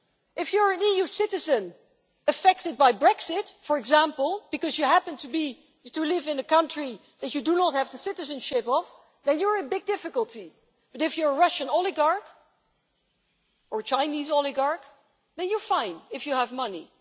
If you're an EU citizen affected by Brexit, for example, because you happen to live in a country that you do not have the citizenship of, then you're in big difficulty, but if you're a Russian oligarch, or a Chinese oligarch, then you're fine, if you have money.